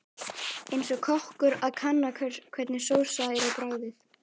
Eins og kokkur að kanna hvernig sósa er á bragðið.